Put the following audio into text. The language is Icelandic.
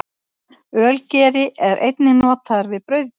Ölgeri er einnig notaður við brauðgerð.